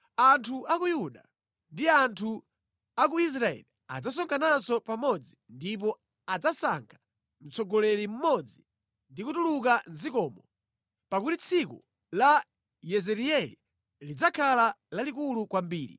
Anthu a ku Yuda ndi anthu a ku Israeli adzasonkhananso pamodzi ndipo adzasankha mtsogoleri mmodzi ndi kutuluka mʼdzikomo, pakuti tsiku la Yezireeli lidzakhala lalikulu kwambiri.”